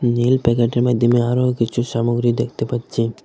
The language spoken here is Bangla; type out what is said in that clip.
নীল প্যাকেটের মধ্যে আমি আরও কিছু সামগ্রী দেখতে পাচ্ছি।